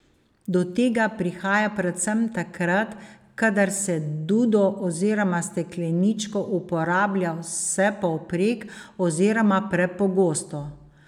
Do tega prihaja predvsem takrat, kadar se dudo oziroma stekleničko uporablja vsepovprek, oziroma prepogosto.